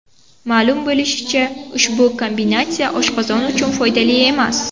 Ma’lum bo‘lishicha, ushbu kombinatsiya oshqozon uchun foydali emas.